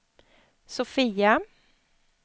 Sofia